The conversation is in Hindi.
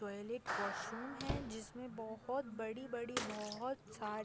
टॉयलेट वाशरूम है जिसमें बहोत बड़ी - बड़ी बहोत छा --